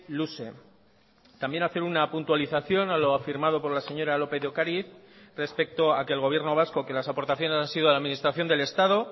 luze también hacer una puntualización a lo afirmado por la señora lópez de ocariz respecto a que el gobierno vasco que las aportaciones han sido a la administración del estado